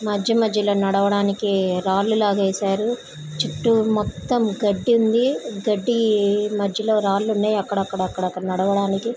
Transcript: మధ్య మధ్యలో నడవడానికి రాళ్లు లాగా వేశారు. చుట్టూ మొత్తం గడ్డి ఉంది. గడ్డి మధ్యలో రాళ్లు ఉన్నాయి. అక్కడక్కడ నడవడానికి --